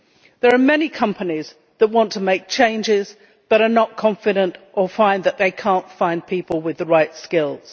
There are many companies that want to make changes but are not confident or cannot find people with the right skills.